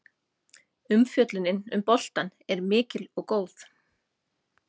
Umfjöllunin um boltann er mikil og góð.